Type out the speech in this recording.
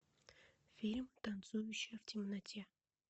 фильм танцующая в темноте